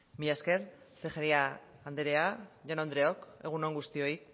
mila esker tejeria anderea jaun andreok egun on guztioi